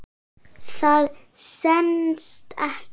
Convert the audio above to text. Það stenst ekki.